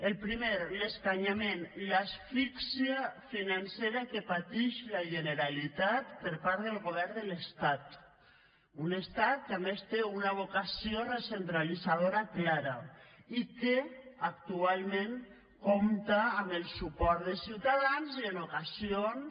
el primer l’escanyament l’asfixia financera que patix la generalitat per part del govern de l’estat un estat que a més té una vocació recentralitzadora clara i que actualment compta amb el suport de ciutadans i en ocasions